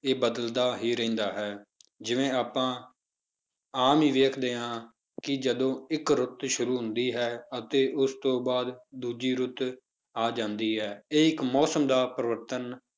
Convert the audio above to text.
ਇਹ ਬਦਲਦਾ ਹੀ ਰਹਿੰਦਾ ਹੈ, ਜਿਵੇਂ ਆਪਾਂ ਆਮ ਹੀ ਵੇਖਦੇ ਹਾਂ ਕਿ ਜਦੋਂ ਇੱਕ ਰੁੱਤ ਸ਼ੁਰੂ ਹੁੰਦੀ ਹੈ, ਅਤੇ ਉਸ ਤੋਂ ਬਾਅਦ ਦੂਜੀ ਰੁੱਤ ਆ ਜਾਂਦੀ ਹੈ, ਇਹ ਇੱਕ ਮੌਸਮ ਦਾ ਪਰਿਵਰਤਨ